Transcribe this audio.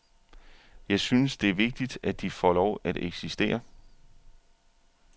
Jeg synes, det er vigtigt, at de får lov at eksistere.